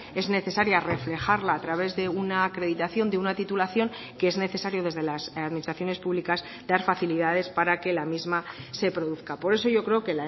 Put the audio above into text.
es necesaria reflejarla a través de una acreditación de una titulación que es necesario desde las administraciones públicas dar facilidades para que la misma se produzca por eso yo creo que